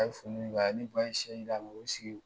ne ba ye sɛ yiran k'o sigi